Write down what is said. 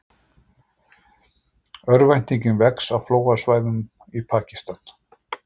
Örvæntingin vex á flóðasvæðum í Pakistan